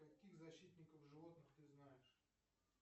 каких защитников животных ты знаешь